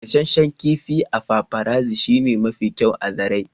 gasasshen kifi a paparazzi shine mafi kyau a zarai.